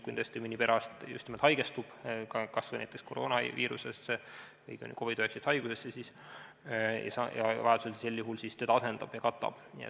Kui tõesti mõni perearst haigestub kas või näiteks koroonaviirusesse või COVID-19 haigusesse, siis sel juhul keegi teda asendab ja katab.